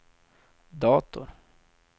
dator